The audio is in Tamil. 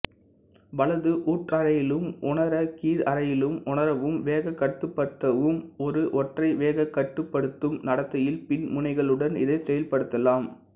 வலது ஊற்றறையிலும் உணர கீழறையிலும் உணரவும் வேகக்கட்டுப்படுத்தவும் ஒரு ஒற்றை வேகக்கட்டுப்படுத்தும் நடத்தியில் மின்முனைகளுடன் இதை செயல்படுத்தலாம்